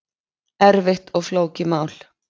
Erfitt og flókið mál